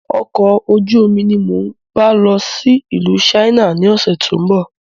Ọkọ̀ ojú omi ni mo ń bá lọ sí ìlú "China" ni ọ̀sẹ̀ tó ń bọ̀